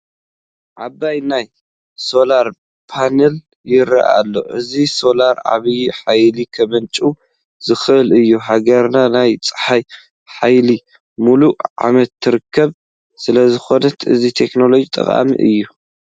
ዓብዪ ናይ ሶላር ፓኔል ይርአ ኣሎ፡፡ እዞ ሶላር ዓብዪ ሓይሊ ከምንጭው ዝኽእል እዩ፡፡ ሃገርና ናይ ፀሓይ ሓይሊ ሙሉእ ዓመት ትረክብ ስለዝኾነት እዚ ቴክኖሎጂ ጠቓሚ እዩ፡፡